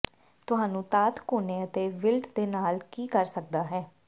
ਤੁਹਾਨੂੰ ਧਾਤ ਕੋਨੇ ਅਤੇ ਇੱਕ ਿਵਲਟ ਦੇ ਨਾਲ ਕੀ ਕਰ ਸਕਦਾ ਹੈ